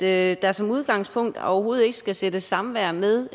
at der som udgangspunkt overhovedet ikke skal sættes samvær med